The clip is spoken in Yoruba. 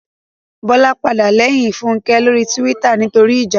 Bọ́lá padà lẹ́yìn Fúnkẹ́ lórí túwítà nítorí ìjà